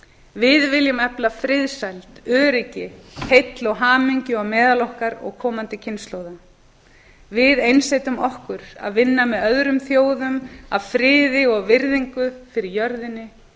við viljum efla friðsæld öryggi heill og hamingju á meðal okkar og komandi kynslóða við einsetjum okkur að vinna með öðrum þjóðum að friði og virðingu fyrir jörðinni